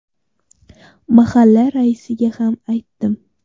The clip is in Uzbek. Mahalla raisiga ham aytdim.